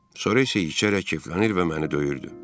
Sonra isə içərək keflənir və məni döyürdü.